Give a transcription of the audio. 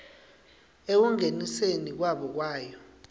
ekungeniseni kwabo kwayo